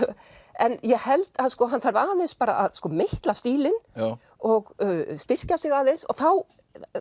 en ég held að sko hann þarf aðeins bara að meitla stílinn og styrkja sig aðeins og þá